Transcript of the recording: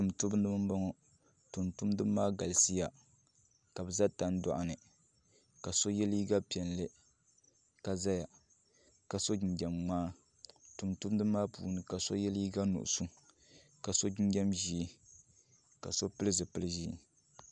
Tumtumdiba n boŋo tumtumdiba maa galisiya ka bi ʒɛ tan doɣa ni ka so yɛ liiga piɛlli ka ʒɛya ka so jinjɛm ŋmaa tumtumdiba maa puuni ka do yɛ liiga nuɣso ka so jinjɛm ʒiɛ ka so pili zipili ʒiɛ